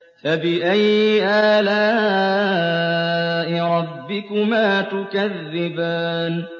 فَبِأَيِّ آلَاءِ رَبِّكُمَا تُكَذِّبَانِ